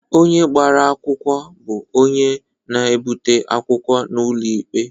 Onye gbara akwụkwọ bụ onye na-ebute okwu n'ụlọ ikpe.